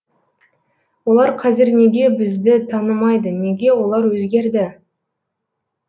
олар қазір неге бізіді танымайды неге олар өзгерді